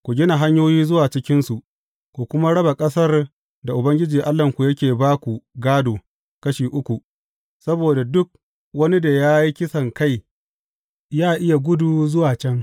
Ku gina hanyoyi zuwa cikinsu, ku kuma raba ƙasar da Ubangiji Allahnku yake ba ku gādo kashi uku, saboda duk wani da ya yi kisankai yă iya gudu zuwa can.